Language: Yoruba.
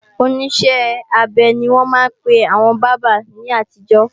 Oníṣẹ́-abẹ ni wọ́n máa ń pe àwọn bábà ní àtijọ́